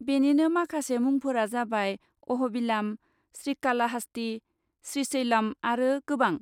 बेनिनो माखासे मुंफोरा जाबाय, अह'बिलाम, श्रिकालाहास्ति, श्रिशैलम आरो गोबां।